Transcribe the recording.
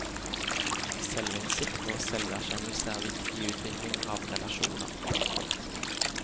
Selvinnsikt og selverkjennelse er viktig i utvikling av relasjoner. punktum